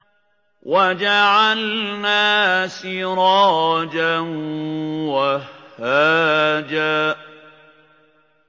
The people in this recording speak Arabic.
وَجَعَلْنَا سِرَاجًا وَهَّاجًا